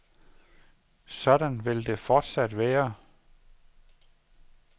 Sådan vil det fortsat være.